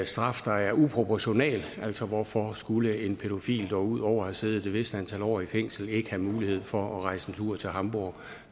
straf der er uproportional altså hvorfor skulle en pædofil dog ud over at have siddet et vist antal år i fængsel ikke have mulighed for at rejse en tur til hamborg